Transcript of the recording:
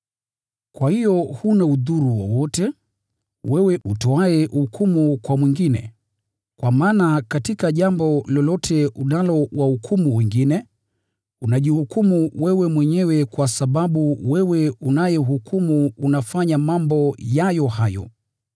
Kwa hiyo huna udhuru wowote, wewe utoaye hukumu kwa mwingine, kwa maana katika jambo lolote unalowahukumu wengine, unajihukumu wewe mwenyewe kwa sababu wewe unayehukumu unafanya mambo hayo hayo.